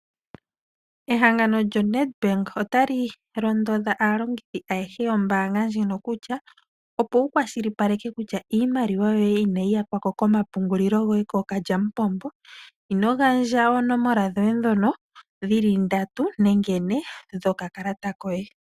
Ehangano lyoNedbank otali londodha aalongithi ayehe yombaanga ndjino kutya, opo wukwashilipaleke kutya iimaliwa yoye inayi yakwako komapungulilo goye kookalyamupombo, inogandja oonomola dhoye dhono dhili 3 nenge 4 dhoka kalata koye.